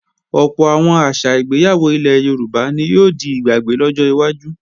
Ọ̀pọ̀ àwọn àṣà ìgbéyàwó ilẹ̀ Yorùbá ni yóò di ìgbàgbé lọ́jọ́ iwájú